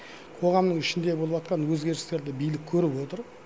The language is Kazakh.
қоғамның ішінде болыватқан өзгерістерді билік көріп отыр